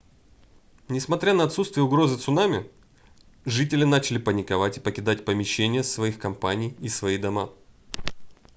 несмотря на отсутствие угрозы цунами жители начали паниковать и покидать помещения своих компаний и свои дома